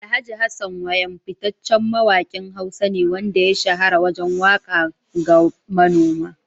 Alhj. Hassan Wayam fitaccen mawakin Hausa ne wanda ya shahara wajen waka ga manoma.